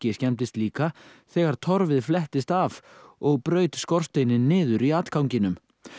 skemmdist líka þegar torfið flettist af og braut skorsteininn niður í atganginum